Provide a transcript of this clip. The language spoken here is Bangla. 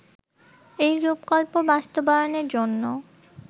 এই রূপকল্প বাস্তবায়নের জন্য